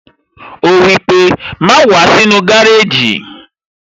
Ó wípé, "Má wàá sínú gárèjì